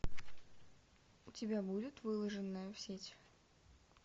у тебя будет выложенная в сеть